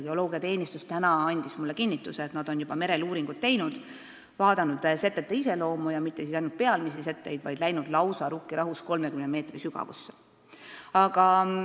Geoloogiateenistus andis mulle täna kinnituse, et nad on juba merel uuringuid teinud, vaadanud setete iseloomu ja uurinud mitte ainult pealmisi setteid, vaid läinud Rukkirahus lausa 30 meetri sügavusse.